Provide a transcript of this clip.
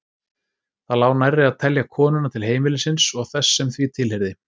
Það lá nærri að telja konuna til heimilisins og þess sem því tilheyrði.